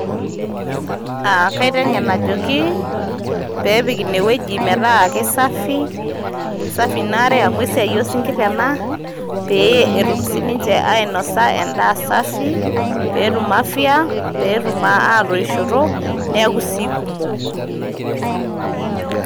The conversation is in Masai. Aa kaiteng'en ajoki peepik ene weuji metaa kisafi, kisafi Ina are amu esiai oo isinkirr ena peetumoki sininche oinosa endaa safii peetum afya peetum atoishoto neeku sii kumok